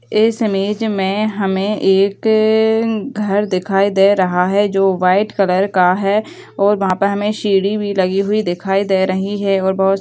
इस इमेज में हमें एक घर दिखाई दे रहा है जो वाइट कलर का है और वहाँ पे हमें सीढ़ी भी लगी हुई दिखाई दे रही है और बहुत --